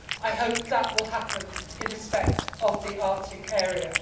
I hope that will happen in respect to the Arctic area.